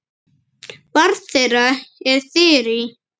Barn þeirra er Þyrí.